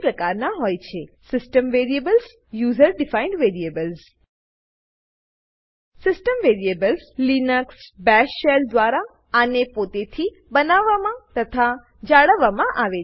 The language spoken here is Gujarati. system variables system variables user defined variables user defined variables system variables Linux bash shell દ્વારા આને પોતેથી બનાવવામાં તથા જાળવવા માં આવે છે